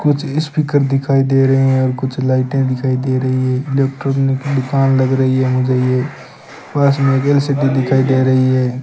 कुछ स्पीकर दिखाई दे रहे हैं और कुछ लाइटें दिखाई दे रही है इलेक्ट्रॉनिक दुकान लग रही है मुझे ये पास में दिखाई दे रही है।